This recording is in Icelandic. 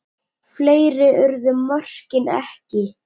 Fleiri urðu mörkin ekki.